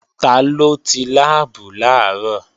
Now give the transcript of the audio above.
Taló ti láàbù làárọ̀?